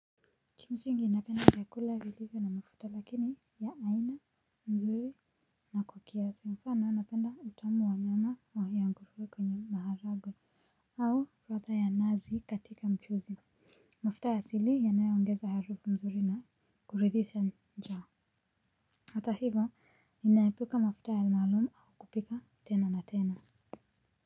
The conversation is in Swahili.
Kimsingi ninapenda vyakula vilivyo na mafuta lakini ya aina mzuri na kwa kiasi mfano napenda utamu wa nyama wa ya ngurwe kwenye maharagwe. Au ladha ya nazi katika mchuzi. Mafuta asili yanayo ongeza harufu mzuri na kuridhisha njaa. Hata hivyo ninaepuka mafuta maalum au kupika tena na tena.